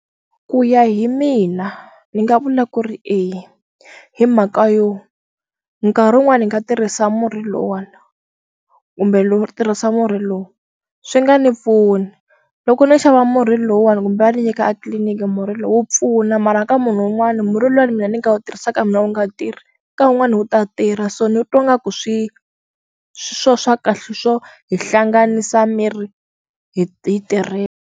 Ku ya hi mina ni nga vula ku ri eya hi mhaka yo nkarhi wun'wani hi nga tirhisa murhi luwani kumbe lo tirhisa murhi lowu swi nga ni pfuni loko no xava murhi lowuwani kumbe va ni nyika a tliliniki murhi lowu wu pfuna mara ka munhu wun'wani murhi luwani mina ni nga wu tirhisaka mina wu nga tirhi ka wun'wani wu ta tirha so ni u twa nga ku swi swo swa kahle swo hi hlanganisa miri hi ti tirhela.